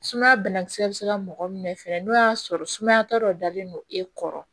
Sumaya banakisɛ bɛ se ka mɔgɔ minɛ fɛnɛ n'o y'a sɔrɔ sumaya ta dɔ dalen don e kɔrɔ